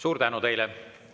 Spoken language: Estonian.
Suur tänu teile!